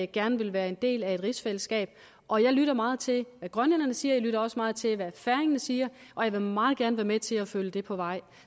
gerne vil være en del af et rigsfællesskab og jeg lytter meget til hvad grønlænderne siger og jeg lytter også meget til hvad færingerne siger og jeg vil meget gerne være med til at følge det på vej